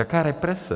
Jaká represe?